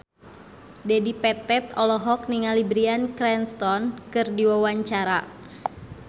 Dedi Petet olohok ningali Bryan Cranston keur diwawancara